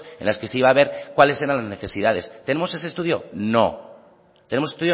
en las que se iba a haber cuál eran las necesidades tenemos ese estudio no tenemos